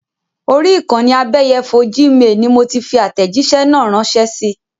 Orí ìkànnì abẹ́yẹfò Gmail ni mo ti fi àtẹ̀jísẹ́ náà rànsẹ́ sii